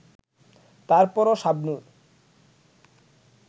তারপরও শাবনূর